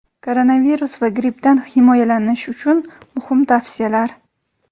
Koronavirus va grippdan himoyalanish uchun muhim tavsiyalar.